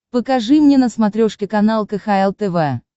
покажи мне на смотрешке канал кхл тв